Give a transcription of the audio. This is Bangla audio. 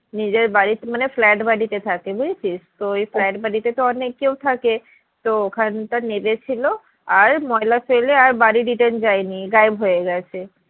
নিজের বাড়িতে মানে flat বাড়িতে থাকে বুঝেছিস তো ওই flat বাড়িতে তো অনেক কেউ থাকে তো ওখানটা নেবে ছিল আর ময়লা ফেলে আর বাড়ি return যাইনি গায়েব হয়ে গেছে।